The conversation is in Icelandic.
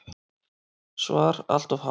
SVAR Allt of há.